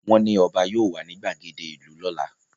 Wọ́n ní ọba yóò wà ní gbàgede ìlú lọ́la